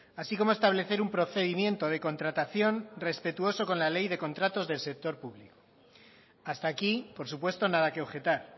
así como establecer un procedimiento de contratación respetuoso con la ley de contratos del sector público hasta aquí por supuesto nada que objetar